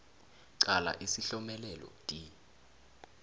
qala isihlomelelo d